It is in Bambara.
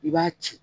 I b'a ci